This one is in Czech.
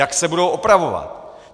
Jak se budou opravovat.